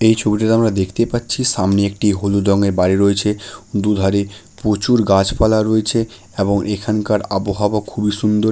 এই ছবিটাতে আমরা দেখতে পাচ্ছি সামনে একটি হলুদ রংয়ের বাড়ি রয়েছে দুধারে প্রচুর গাছপালা রয়েছে এবং এখানকার আবহাওয়া খুবই সুন্দর।